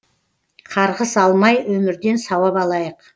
қарғыс алмай өмірден сауап алайық